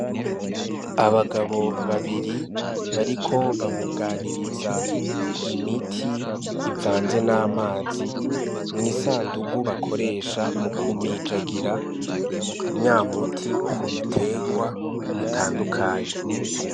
Abagabo babiri, bariko babuganiriza imiti ivanze n'amazi mw'isandugu, bakoresha mu kumijagira nya muti kubiterwa bitandukanye.